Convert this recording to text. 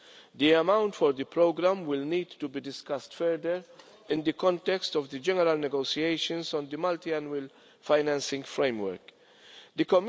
The amount for the programme will need to be discussed further in the context of the general negotiations on the Multiannual Financial Framework The